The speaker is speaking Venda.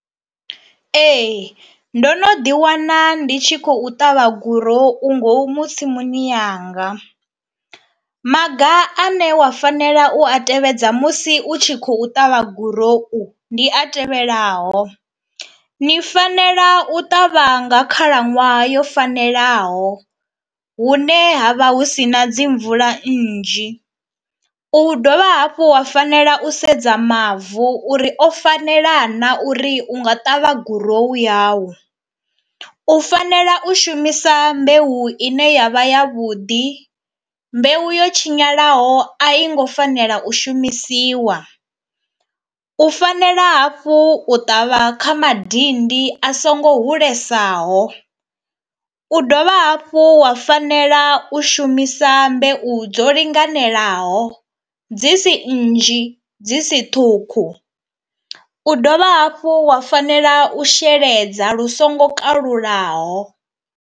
Ee ndo no ḓi wana ndi tshi khou ṱavha gurou ngomu tsimuni yanga. Maga ane wa fanela u a tevhedza musi u tshi khou ṱavha gurou ndi a tevhelaho, ni fanela u ṱavha nga khalaṅwaha yo fanelaho hune ha vha hu si na dzi mvula nnzhi, u dovha hafhu wa fanela u sedza mavu uri o fanela na uri u nga ṱavha gurowu yau, u fanela u shumisa mbeu ine yavha ya vhuḓi, mbeu yo tshinyalaho a i ngo fanela u shumisiwa, u fanela hafhu u ṱavha kha madindi a songo hulesaho, u dovha hafhu wa fanela u shumisa mbeu dzo linganelaho dzi si nnzhi dzi si ṱhukhu, u dovha hafhu wa fanela u sheledza lu songo kalulaho.